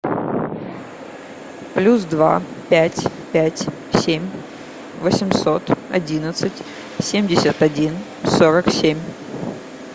плюс два пять пять семь восемьсот одиннадцать семьдесят один сорок семь